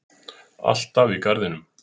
Alltaf í garðinum.